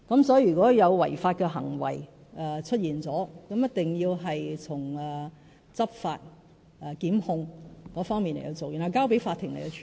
所以，如果有違法的行為出現了，一定要從執法及檢控方面來處理，交由法庭處理。